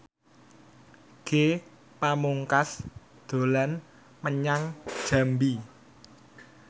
Ge Pamungkas dolan menyang Jambi